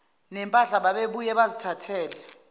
nempahla babebuye bazithathele